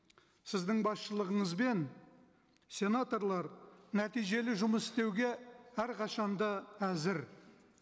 сіздің басшылығыңызбен сенаторлар нәтижелі жұмыс істеуге әрқашан да әзір